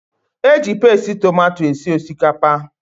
Eji pasti tomato esi osikapa